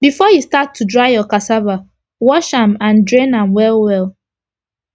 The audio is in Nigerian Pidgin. before u start to dry ur cassava wash am and drain am well well